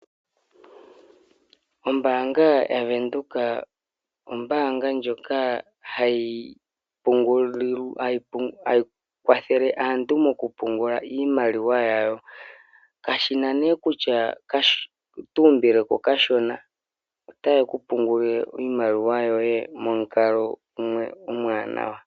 Ombaanga yaVenduka, ombaanga ndjoka hayi kwathele aantu moku pungula iimaliwa yawo, kashi na nee kutya oto umbile ko okashona, ota ye ku pungulile iimaliwa yoye momukalo gumwe omawaanawa.